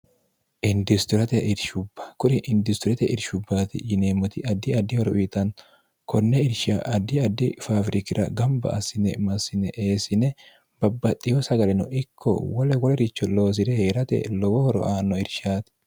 indistorate irshubba kuri indistorote irshubbaati yineemmoti addi addi horo uyitanno konne irsha addi addi faafirikira gamba assine massine eessine babbaxxiho sagaleno ikko wole woloricho loosi're hee'rate lowo horo aanno irshaati